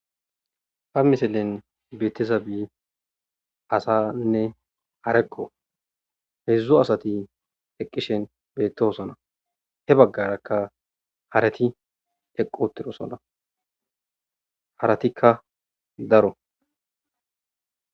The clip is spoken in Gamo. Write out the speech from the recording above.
ba misilen betiza bii asanne areqqo hedzdzo asati eqqishen beettoosona he baggarakka harati eqqu uttiro sona haratikka daro